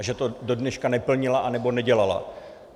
A že to do dneška neplnila, nebo nedělala.